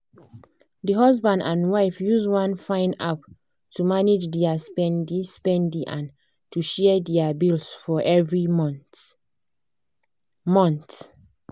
di husband and wife use one fine app to manage dia spendi-spendi and to share dia bills for every month. month.